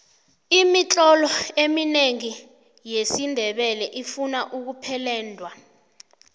imitlolo eminengi yesindebele ifuna ukupeledwa